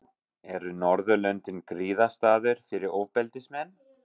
Eru Norðurlöndin griðastaður fyrir ofbeldismenn?